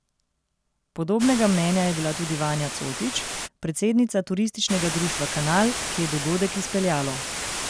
Podobnega mnenja je bila tudi Vanja Cotič, predsednica Turističnega društva Kanal, ki je dogodek izpeljalo.